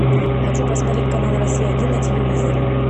хочу посмотреть канал россия один на телевизоре